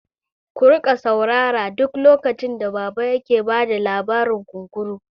Ku riƙa saurara duk lokacin da baba yake bada labarin kunkuru!